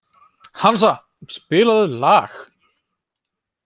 Hansa, spilaðu lag.